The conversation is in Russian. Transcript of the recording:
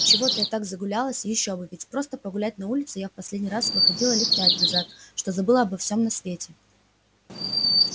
и чего-то я так загулялась ещё бы ведь просто погулять на улицу я в последний раз выходила лет пять назад что забыла обо всём на свете